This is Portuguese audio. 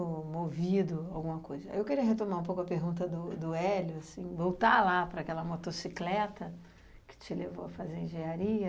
movido, alguma coisa. Eu queria retomar um pouco a pergunta do do Hélio, assim, voltar lá para aquela motocicleta que te levou a fazer engenharia,